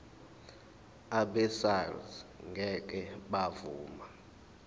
abesars ngeke bavuma